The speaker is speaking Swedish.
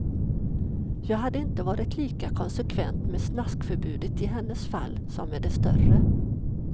Jag hade inte varit lika konsekvent med snaskförbudet i hennes fall, som med de större.